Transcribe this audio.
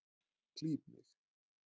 Klíp mig.